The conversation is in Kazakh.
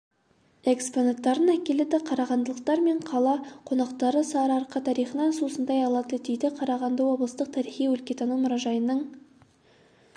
экспонаттарын әкеледі қарағандылықтар мен қала конақтары сары-арқа тарихынан сусындай алады дейді қарағанды облыстық тарихи-өлкетану мұражайының